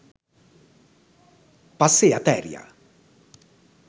පස්සෙ අතෑරිය.